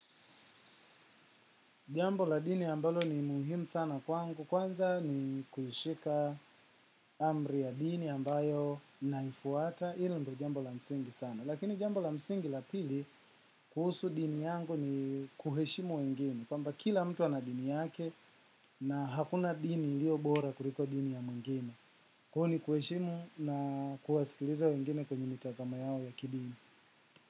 Jambo la dini ambalo ni muhimu sana kwangu, kwanza ni kushika amri ya dini ambayo naifuata, ili ndiyo jambo la msingi sana. Lakini jambo la msingi la pili kuhusu dini yangu ni kuheshimu wengine, kwamba kila mtu ana dini yake na hakuna dini iliyo bora kuliko dini ya mwingine. Huu ni kuheshimu na kuwasikiliza wengine kwenye mitazamo yao ya kidini.